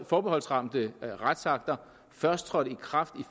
forbeholdsramte retsakter først trådte i kraft